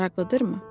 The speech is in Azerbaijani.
Maraqlıdır mı?